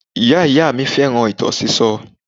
Ìyá-ìyá mi fẹ́ràn ìtàn sísọ